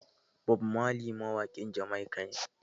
Bob marley mawaƙin Jamaica ne